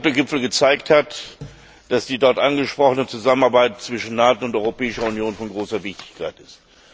Der NATO Gipfel hat gezeigt, dass die dort angesprochene Zusammenarbeit zwischen NATO und Europäischer Union von großer Wichtigkeit ist.